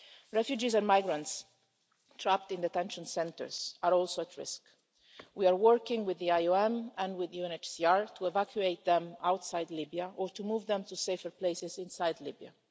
Refugees and migrants trapped in detention centres are also at risk. We are working with the IOM and with UNHCR to evacuate them outside Libya or to move them to safer places inside Libya.